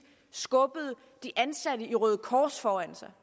skubbede de ansatte i røde kors foran sig